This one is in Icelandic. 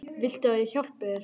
Viltu að ég hjálpi þér?